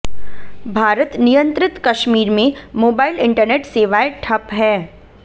भारत नियंत्रित कश्मीर में mobile internet सेवाएं ठप हैं